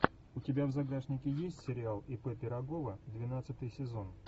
у тебя в загашнике есть сериал ип пирогова двенадцатый сезон